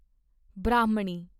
ਬ੍ਰਾਹਮਣੀ